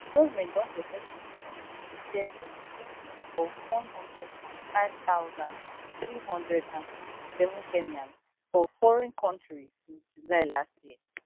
government don successfully facilitated employment of one hundred and five thousand, three hundred and sixty-seven kenyans for foreign kontri since july last year